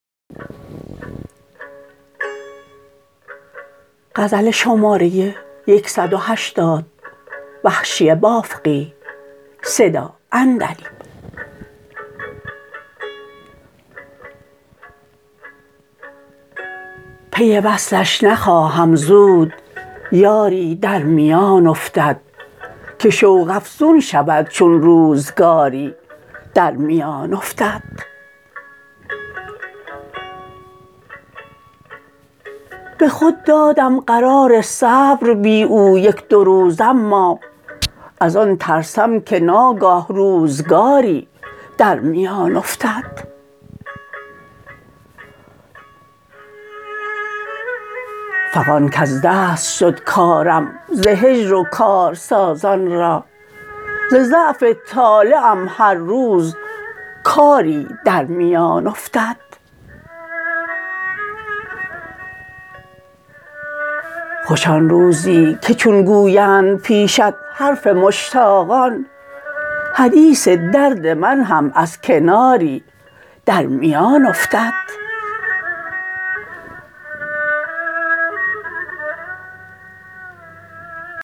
پی وصلش نخواهم زود یاری در میان افتد که شوق افزون شود چون روزگاری در میان افتد به خود دادم قرار صبر بی او یک دو روز اما از آن ترسم که ناگه روزگاری در میان افتد فغان کز دست شد کارم ز هجر و کار سازان را ز ضعف طالعم هر روز کاری در میان افتد خوش آن روزی که چون گویند پیشت حرف مشتاقان حدیث درد من هم از کناری در میان افتد